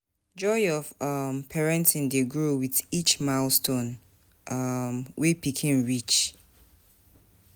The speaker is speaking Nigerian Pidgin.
Joy of um parenting dey grow with each milestone um wey pikin reach.